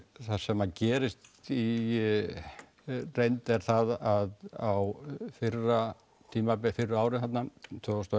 það sem gerist í reynd er það að á fyrra tímabili fyrri árum tvö þúsund og